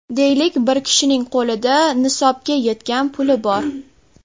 Deylik, bir kishining qo‘lida nisobga yetgan puli bor.